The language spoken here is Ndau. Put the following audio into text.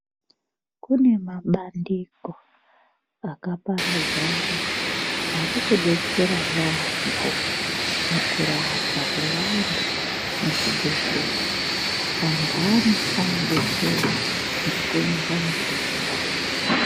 Kune mabandiko akaparadzana ari kudetsera yaampo mukurapwa kwavantu muzvibhedhlera antani anodetsera ngekuunza mitombo.